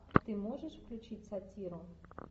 ты можешь включить сатиру